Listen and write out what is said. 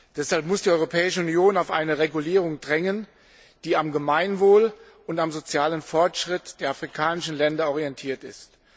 Deshalb muss die Europäische Union auf eine Regulierung drängen, die am Gemeinwohl und am sozialen Fortschritt der afrikanischen Länder orientiert ist.